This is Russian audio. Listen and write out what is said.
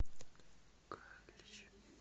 галич